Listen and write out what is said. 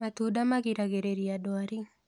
Matunda magĩragĩrĩrĩa ndwarĩ